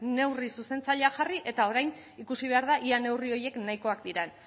neurri zuzentzaileak jarri eta orain ikusi behar da ea neurri horiek nahikoak diren